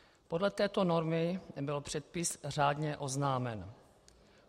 Podle této normy byl předpis řádně oznámen.